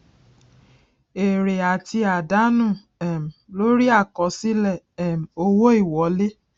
èrè àti àdánù um lórí àkọsílẹ um owó ìwọlé